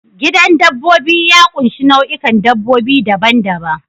Gidan dabbobi ya ƙunshi nau'ikan dabbobi daban-daban.